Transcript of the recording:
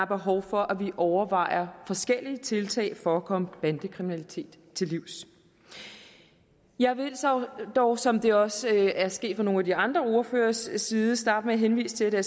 behov for at vi overvejer forskellige tiltag for at komme bandekriminalitet til livs jeg vil dog som det også er sket fra nogle af de andre ordføreres side starte med at henvise til at